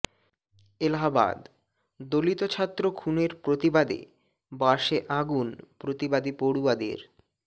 এলাহাবাদঃ দলিত ছাত্র খুনের প্রতিবাদে বাসে আগুন প্রতিবাদী পড়ুয়াদের